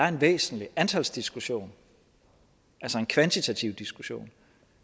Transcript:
en væsentlig antalsdiskussion altså en kvantitativ diskussion